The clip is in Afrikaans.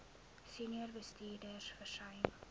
senior bestuurders versuim